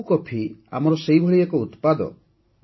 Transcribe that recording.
Araku coffee ଆମର ସେହିଭଳି ଏକ ଉତ୍ପାଦ